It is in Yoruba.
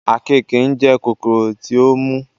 àkekèé ńjẹ kòkòrò tí ó mú